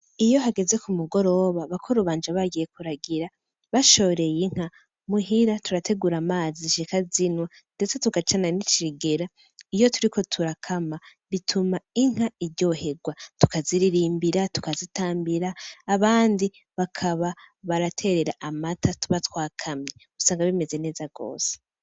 Iyo hageze kumugoroba, bakuru banje bagiye kuragira, bashoreye inka, muhira turategura amazi zishika zinywa, ndetse tugacana n'ikigira. Iyo turiko turakama, bituma inka iryohegwa, tukaziririmbira, tukazitambira, abandi bakaba baraterera amata tuba twakamye, usanga bimeze neza gose.